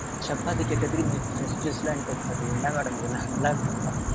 சப்பாத்தி கேட்டதுக்கு, நீங்க fresh juice லாம் என்கிட்ட சொல்றீங்க என்ன madam இதுல்லாம் நல்லா இருக்கா?